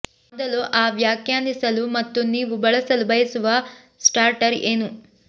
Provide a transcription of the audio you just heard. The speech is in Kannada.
ಮೊದಲು ಆ ವ್ಯಾಖ್ಯಾನಿಸಲು ಮತ್ತು ನೀವು ಬಳಸಲು ಬಯಸುವ ಸ್ಟಾರ್ಟರ್ ಏನು